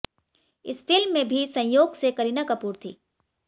इस फिल्म में भी संयोग से करीना कपूर थी